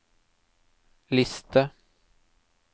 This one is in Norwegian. liste